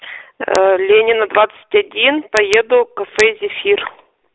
ленина двадцать один поеду кафе зефир